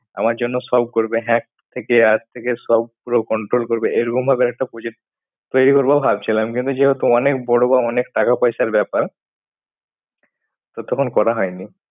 সব করবে থেকে আজ থেকে সব করবে hack থেকে আজ থেকে পুরো control করবে। এরকম ভাবে একটা project তৈরি করবো ভাবছিলাম। কিন্তু যেহেতু অনেক বড় বা অনেক টাকা পয়সার ব্যাপার। তো তখন করা হয় নি।